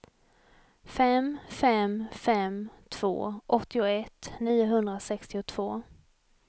fem fem fem två åttioett niohundrasextiotvå